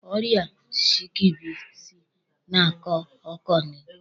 Ọrịa skebisi na-akọ ọkọ nke ukwuu.